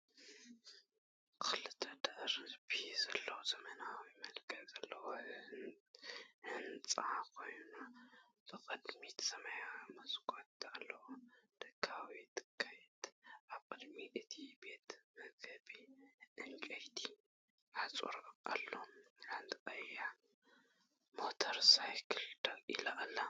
ክልተ ደርቢ ዘለዎ ዘመናዊ መልክዕ ዘለዎ ህንጻ ኮይኑ፡ ብቕድሚት ሰማያዊ መስኮት ኣለዎ። ደጋዊ ትርኢት፡ ኣብ ቅድሚ እቲ ቤት መግቢ ዕንጨይቲ ሓጹር ኣሎ። ሓንቲ ቀያሕ ሞተር ሳይክል ደው ኢላ ኣላ።